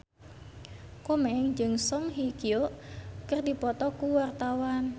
Komeng jeung Song Hye Kyo keur dipoto ku wartawan